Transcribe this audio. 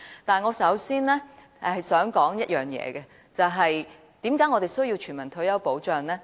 但是，我首先想說一件事，為何我們需要全民退休保障呢？